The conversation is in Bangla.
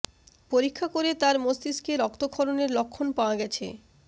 পরীক্ষা করে তার মস্তিষ্কে রক্তক্ষরণের লক্ষণ পাওয়া গেছে